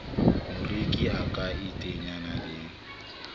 moreki a ka iteanyang le